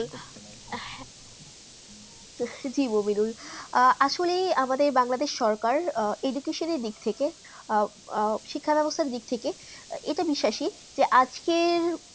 জি মনিদুল আহ আসলে আমাদের বাংলাদেশ সরকার এদিক সে দিকে থেকে আহ শিক্ষা ব্যবস্থা দিক থেকে যেটা বিশ্বাসী আজকের